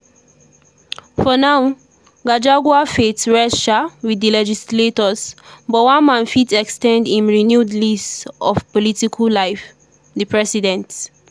for now gachagua fate rest um wit di legislators but one man still fit ex ten d im renewed lease of political life – di president.